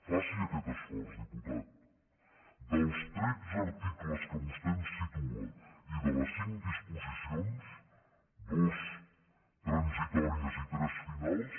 faci aquest esforç diputat dels tretze articles que vostè ens situa i de les cinc disposicions dues transitòries i tres finals